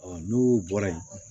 Ɔ n'o bɔra yen